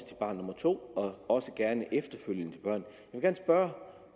til barn nummer to og også gerne efterfølgende børn